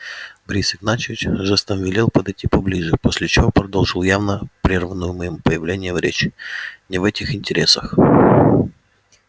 борис игнатьевич жестом велел подойти поближе после чего продолжил явно прерванную моим появлением речь не в этих интересах